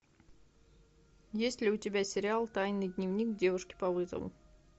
есть ли у тебя сериал тайный дневник девушки по вызову